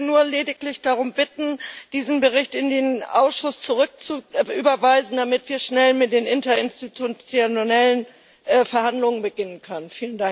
Ich möchte nur lediglich darum bitten, diesen Bericht in den Ausschuss zurückzuüberweisen, damit wir schnell mit den interinstitutionellen Verhandlungen beginnen können.